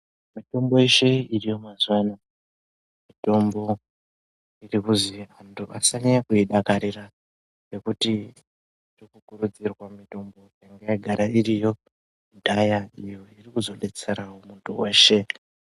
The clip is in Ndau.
Mitombo yeshe iriyo mazuva ano mutombo irikuzi vantu vasanyanya kuidakarira. Nekuti kurikukurudzirwa mitombo yangayagara iriyo kudhaya iyo irikuzvobetseravo muntu veshe.